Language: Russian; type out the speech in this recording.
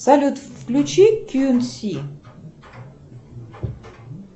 салют включи кьюнси